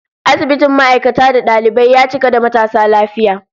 Asibitin ma'aikata da dalibai, ya cika da matasa lafiya